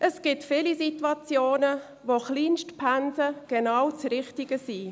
Es gibt viele Situationen, in denen Kleinstpensen genau das Richtige sind.